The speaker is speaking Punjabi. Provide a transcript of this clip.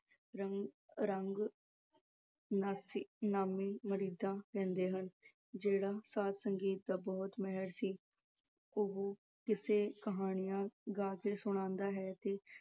ਰੀ ਆਹ ਰੰਗ ਨਾਸੀ ਅਹ ਨਾਮੀਂ ਦਿੰਦੇ ਹਨ ਜਿਹੜਾ ਸਾਜ-ਸੰਗੀਤ ਦਾ ਬਹੁਤ ਮਾਹਿਰ ਸੀ ਉਹੋ ਕਿੱਸੇ ਕਹਾਣੀਆਂ ਗਾ ਕੇ ਸੁਣਾਉਂਦਾ ਹੈ ਤੇ